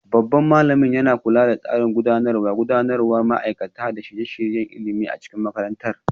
Babban malamin yana kula da tsarin gudanarwa, gudanarwar ma'aikata, da shirye-shiryen ilimi a cikin makarantar.